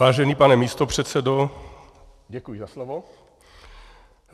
Vážený pane místopředsedo, děkuji za slovo.